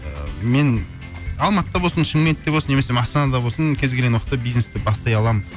ыыы мен алматыда болсын шымкентте болсын немесе астанада болсын кез келген уақытта бизнесті бастай аламын